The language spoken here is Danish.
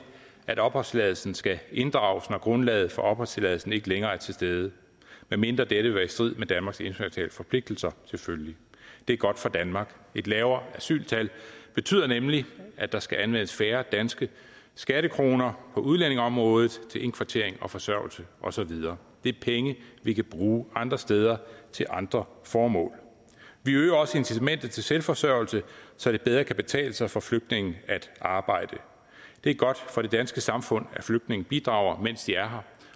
at opholdstilladelsen skal inddrages når grundlaget for opholdstilladelsen ikke længere er til stede medmindre det vil være i strid med danmarks internationale forpligtelser selvfølgelig det er godt for danmark et lavere asyltal betyder nemlig at der skal anvendes færre danske skattekroner på udlændingeområdet til indkvartering forsørgelse og så videre det er penge vi kan bruge andre steder til andre formål vi øger også incitamentet til selvforsørgelse så det bedre kan betale sig for flygtninge at arbejde det er godt for det danske samfund at flygtninge bidrager mens de er her